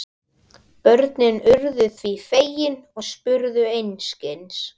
Börnin voru því fegin og spurðu einskis.